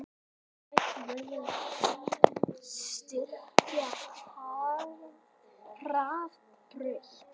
Hætt verði að styrkja Hraðbraut